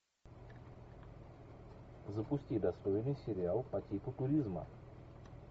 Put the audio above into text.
запусти достойный сериал по типу туризма